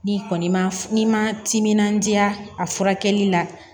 N'i kɔni ma n'i ma timinandiya a furakɛli la